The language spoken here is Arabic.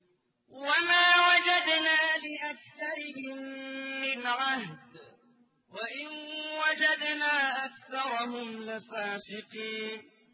وَمَا وَجَدْنَا لِأَكْثَرِهِم مِّنْ عَهْدٍ ۖ وَإِن وَجَدْنَا أَكْثَرَهُمْ لَفَاسِقِينَ